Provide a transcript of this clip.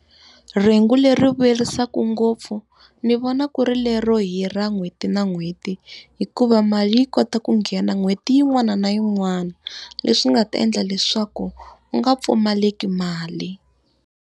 Rhengu leri vuyerisaka ngopfu, ndzi vona ku ri lero hira n'hweti na n'hweti. Hikuva mali yi kota ku nghena n'hweti yin'wana na yin'wana, leswi nga ta endla leswaku u nga pfumaleki mali.